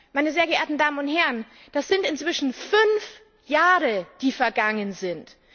Meine sehr geehrten Damen und Herren, das sind inzwischen fünf Jahre, die vergangen sind!